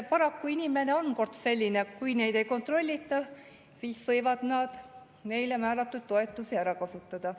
Paraku inimesed kord juba on sellised, et kui neid ei kontrollita, siis võivad nad neile määratud toetusi kasutada.